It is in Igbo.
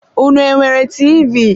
Unu enwere TV?